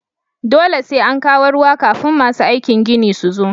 Dole sai an kawo ruwa kafin masu aikin ginin su zo